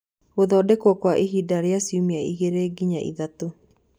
Gũthondekwo kwa ihinda rĩa ciumia igĩrĩ nginya ithatũ